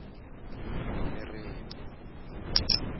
nomeremo